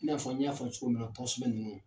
I n'a fɔ n y'a fɔ cogo min na tɔgɔsɛbɛn ninnu .